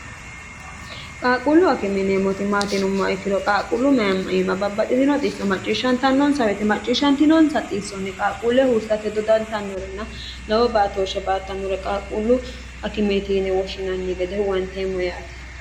qaaquullu akime yineemmoti maati yinumma ikkiro qaaquullu mayamma iima babbaxitino xisso macciishshantannonsa woyete macciishshantinonsa xiissonni qaaquulle huursate dodantannorena lowo baatooshe baattannore qaaquullu akimeeti yine woshshinanni gede huwanteemmo yaate